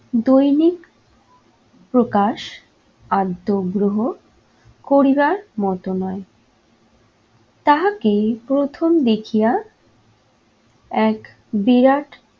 দৈনিক প্রকাশ আর দোগ্রহ করিবার মতো নয়। তাহাকে প্রথম দেখিয়া এক বিরাট